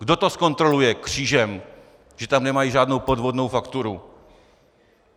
Kdo to zkontroluje křížem, že tam nemají žádnou podvodnou fakturu?